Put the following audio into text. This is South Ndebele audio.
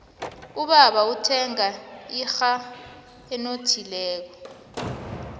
ubaba uthenge inrha enothileko